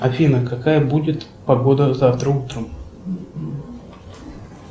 афина какая будет погода завтра утром